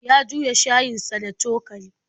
Ya juya shayinsa da cokali.